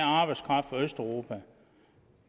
arbejdskraft fra østeuropa